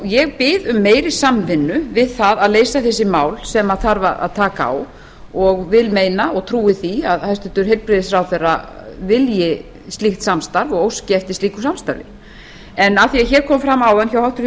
ég bið um meiri samvinnu við það að leysa þessi mál sem þarf að taka á og vil meina og trúi því að hæstvirtur heilbrigðisráðherra vilji slíkt samstarf og óski eftir því af því að hér kom fram áðan hjá háttvirtum